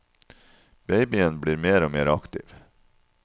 Babyen blir mer og mer aktiv.